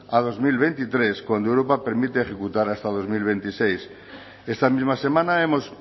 a dos mil veintitrés cuando europa permite ejecutar hasta dos mil veintiséis esta misma semana hemos